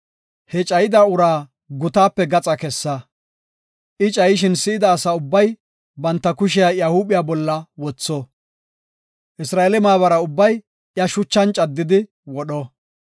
He cayida uraa gutaape gaxa kessa. I cayishin si7ida asa ubbay banta kushiya iya huuphiya bolla wotho; Isra7eele maabara ubbay iya shucha caddidi wodho.